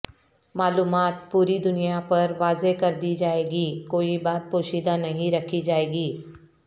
معلومات پوری دنیا پر واضح کردی جائیں گی کوئی بات پوشیدہ نہیں رکھی جائے گی